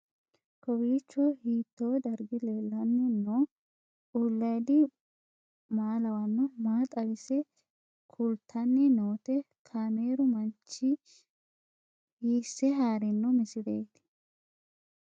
Kowiicho hiito dargi leellanni no ? ulayidi maa lawannoho ? maa xawisse kultanni noote ? kaameru manchi hiisse haarino misileeti?